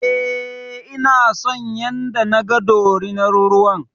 E, ina son yanda naga dorinar ruwan.